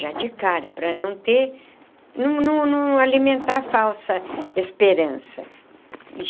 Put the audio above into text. Já de cara, para não ter... não não não alimentar falsa esperança.